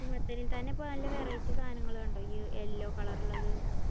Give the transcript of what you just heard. മത്തനെക്കാളും ഇപ്പ നല്ല variety സാധനങ്ങള് ഉണ്ട് ഇയ്യ്‌ yellow colour ഉള്ളത്.